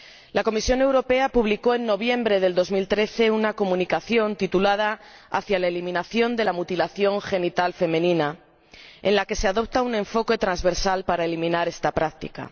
La Comisión Europea publicó en noviembre de 2013 una Comunicación titulada Hacia la eliminación de la mutilación genital femenina, en la que se adopta un enfoque transversal para eliminar esta práctica.